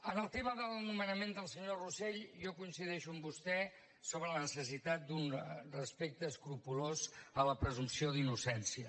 en el tema del nomenament del senyor rosell jo coincideixo amb vostè sobre la necessitat d’un respecte escrupolós de la presumpció d’innocència